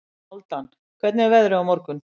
Hálfdan, hvernig er veðrið á morgun?